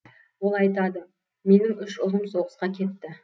ол айтады менің үш ұлым соғысқа кетті